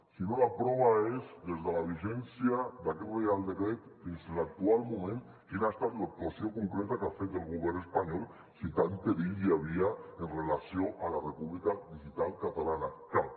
si no la prova és des de la vigència d’aquest reial decret fins a l’actual moment quina ha estat l’actuació concreta que ha fet el govern espanyol si tant perill hi havia amb relació a la república digital catalana cap